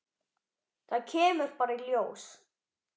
Það kemur bara í ljós.